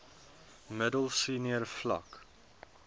middel senior vlak